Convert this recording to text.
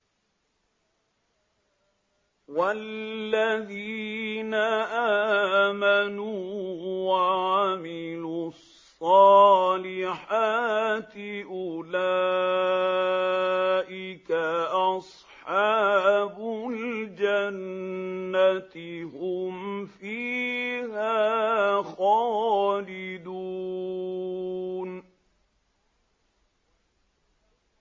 وَالَّذِينَ آمَنُوا وَعَمِلُوا الصَّالِحَاتِ أُولَٰئِكَ أَصْحَابُ الْجَنَّةِ ۖ هُمْ فِيهَا خَالِدُونَ